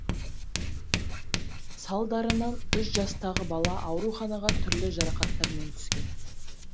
салдарынан үш жастағы бала ауруханаға түрлі жарақаттармен түскен